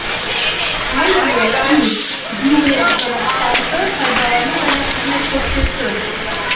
аудио и видеоаппараттарды пайдалану және қызмет көрсету